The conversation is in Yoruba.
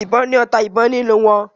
ìbọn ni ọta ìbọn nínú wón